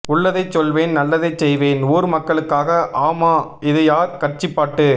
உள்ளதை சொல்வேன் நல்லதை செய்வேன் ஊர் மக்களுக்காக ஆமா இது யார் கட்சி பாட்டு